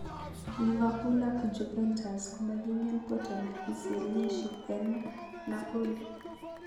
Liverpool ak Juventus komakingen poartl zielinshi eng Napoli